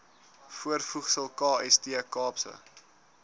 voorvoegsel kst kaapse